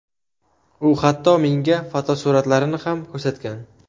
U hatto menga fotosuratlarini ham ko‘rsatgan.